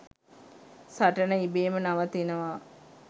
සටන ඉබේම නවතිනවා.